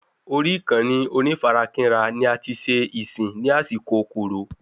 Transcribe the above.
Orí ìkànnì onífarakínra ni ati ṣe ìsìn ní àsìkò Coro